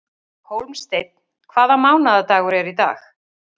Hólmsteinn, hvaða mánaðardagur er í dag?